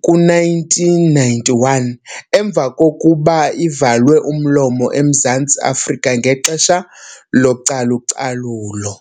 ku-1991, emva kokuba ivalwe umlomo eMzantsi Afrika ngexesha localucalulo.